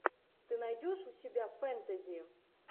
ты найдешь у себя фэнтези